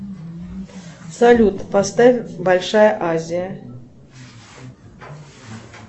салют поставь большая азия